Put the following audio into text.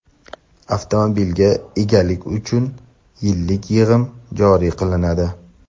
avtomobilga egalik uchun yillik yig‘im joriy qilinadi.